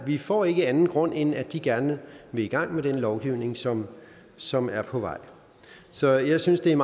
vi får ikke anden grund end at de gerne vil i gang med den lovgivning som som er på vej så jeg synes det er